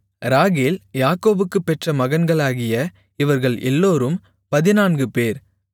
ராகேல் யாக்கோபுக்குப் பெற்ற மகன்களாகிய இவர்கள் எல்லோரும் பதினான்குபேர்